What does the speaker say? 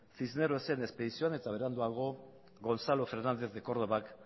cisnerosen espedizioan eta beranduago gonzalo fernández de córdobak